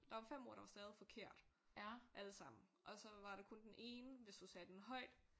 Der var 5 ord der var stavet forkert alle sammen og så var der kun den ene hvis du sagde den højt